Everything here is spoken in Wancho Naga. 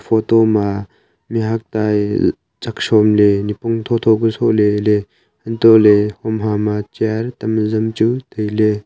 photo ma mihuak ta ee chak shom ley nipong tho tho ku soh leley antole hom hama chair tam azam chu tailey.